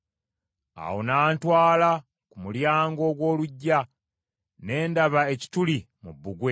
Awo n’antwala ku mulyango ogw’oluggya. Ne ndaba ekituli mu bbugwe.